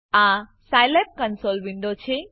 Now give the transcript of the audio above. આ Scilab console window છે